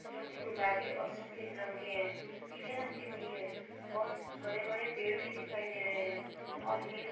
जो कि गुलाबी और सफेद रंग के हैं। पीले रंग के भी हैं और बड़े-बड़े पेड़ भी दिखाई दे रहे हैं और ये --